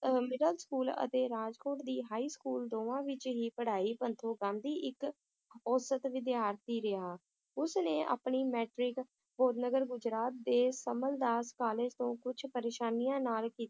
ਅਹ middle school ਅਤੇ ਰਾਜਕੋਟ ਦੀ high school ਦੋਵਾਂ ਵਿਚ ਹੀ ਪੜ੍ਹਾਈ ਪੱਖੋਂ ਗਾਂਧੀ ਇੱਕ ਔਸਤ ਵਿਦਿਆਰਥੀ ਰਿਹਾ ਉਸ ਨੇ ਆਪਣੀ matric ਗੁਜਰਾਤ ਦੇ ਸਮਲਦਾਸ college ਤੋਂ ਕੁਛ ਪ੍ਰੇਸ਼ਾਨੀਆਂ ਨਾਲ ਕੀ~